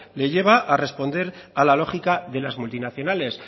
le lleva a responder a la lógica de las multinacionales